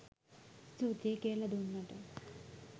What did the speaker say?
ස්තුතියි කියලා දුන්නට